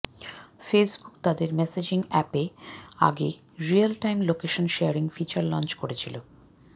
Facebook তাদের messaging অ্যাপে এর আগে real time location sharing feature launch করেছিল